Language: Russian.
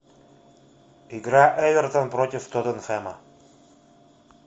игра эвертон против тоттенхэма